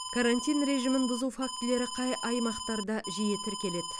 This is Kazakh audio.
карантин режимін бұзу фактілері қай аймақтарда жиі тіркеледі